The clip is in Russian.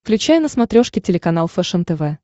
включай на смотрешке телеканал фэшен тв